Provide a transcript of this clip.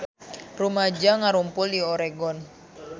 Rumaja ngarumpul di Oregon